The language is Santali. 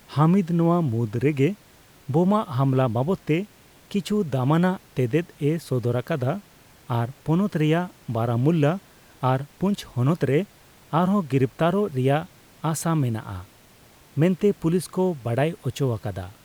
ᱦᱟᱢᱤᱫ ᱱᱚᱣᱟ ᱢᱩᱫᱽ ᱨᱮᱜᱮ ᱵᱳᱢᱟ ᱦᱟᱢᱞᱟ ᱵᱟᱵᱚᱫᱼᱛᱮ ᱠᱤᱪᱷᱩ ᱫᱟᱢᱟᱱᱟᱜ ᱛᱮᱛᱮᱫᱼᱮ ᱥᱚᱫᱚᱨ ᱟᱠᱟᱫᱟ ᱟᱨ ᱯᱚᱱᱚᱛ ᱨᱮᱭᱟᱜ ᱵᱟᱨᱟᱢᱩᱞᱞᱟ ᱟᱨ ᱯᱩᱧᱪᱷ ᱦᱚᱱᱚᱛ ᱨᱮ ᱟᱨᱦᱚᱸ ᱜᱤᱨᱤᱯᱛᱟᱨᱚᱜ ᱨᱮᱭᱟᱜ ᱟᱥᱟ ᱢᱮᱱᱟᱜᱼᱟ ᱢᱮᱱᱛᱮ ᱯᱩᱞᱤᱥ ᱠᱚ ᱵᱟᱰᱟᱭ ᱩᱪᱚ ᱟᱠᱟᱫᱟ ᱾